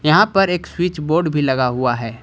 यहां पर एक स्विच बोर्ड भी लगा हुआ है।